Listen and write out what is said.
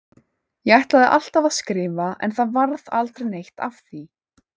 Ég ætlaði alltaf að skrifa en það varð aldrei neitt af því.